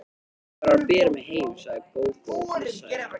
Þú verður að bera mig heim, sagði Gógó og flissaði.